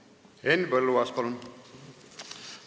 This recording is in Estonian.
Henn Põlluaas, palun!